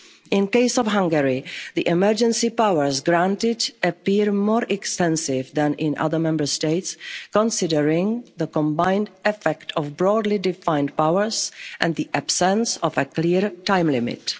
concerns. In the case of Hungary, the emergency powers granted appear more extensive than in other Member States, considering the combined effect of broadly defined powers and the absence of a clear time